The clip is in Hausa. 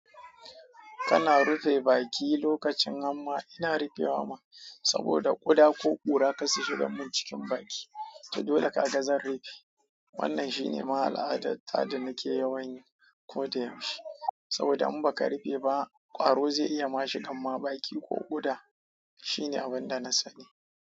Kana rufe baki lokacin hamma, ina rufewa ma saboda ƙuda ko ɓura ka shiga mun cikin baki, ta dole ka gaza rufe. Wannan shine ma al'adar da nake yawon yi ko da yaushe saboda in baka rufe ba ƙwaro zai iya ma shiga ma baki ko ƙuda, shine abin da na sani.